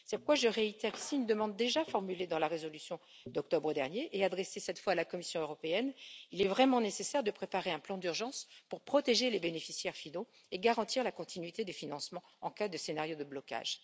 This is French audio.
Cette fois, je réitère ici une demande déjà formulée dans la résolution d'octobre dernier et adressée cette fois à la Commission européenne il est vraiment nécessaire de préparer un plan d'urgence pour protéger les bénéficiaires finaux et garantir la continuité du financement en cas de scénario de blocage.